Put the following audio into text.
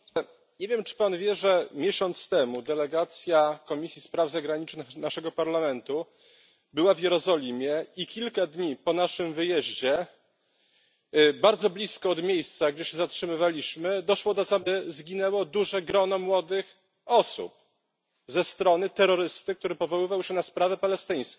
Nie wiem, czy Pan wie, że miesiąc temu delegacja Komisji Spraw Zagranicznych z naszego Parlamentu była w Jerozolimie i kilka dni po naszym wyjeździe bardzo blisko miejsca, gdzie się zatrzymywaliśmy, doszło do zamachu, w którym na ulicy zginęło duże grono młodych osób z rąk terrorysty powołującego się na sprawę palestyńską.